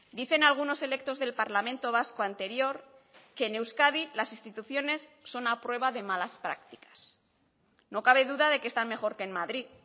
dicen algunos electos del parlamento vasco anterior que en euskadi las instituciones son a prueba de malas prácticas no cabe duda de que están mejor que en madrid